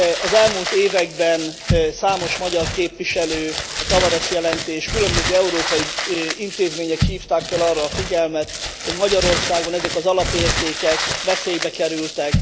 Az elmúlt években számos magyar képviselő, a Tavares jelentés és különböző európai intézmények hívták fel arra a figyelmet, hogy Magyarországon ezek az alapértékek veszélybe kerültek.